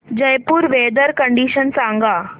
Jaipur weather condition सांगा